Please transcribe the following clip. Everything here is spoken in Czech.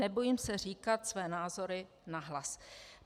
Nebojím se říkat své názory nahlas."